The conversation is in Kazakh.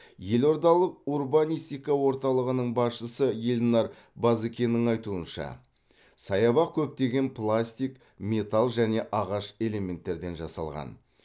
елордалық урбанистика орталығының басшысы елнар базыкеннің айтуынша саябақ көптеген пластик металл және ағаш элементтерден жасалған